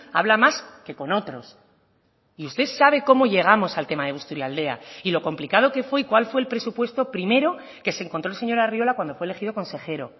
habla más que con otros y usted sabe cómo llegamos al tema de busturialdea y lo complicado que fue y cuál fue el presupuesto primero que se encontró el señor arriola cuando fue elegido consejero